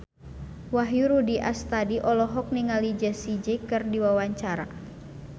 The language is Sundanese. Wahyu Rudi Astadi olohok ningali Jessie J keur diwawancara